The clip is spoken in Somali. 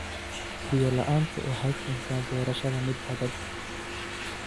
Biyo la'aantu waxay keentaa beerashada mid adag.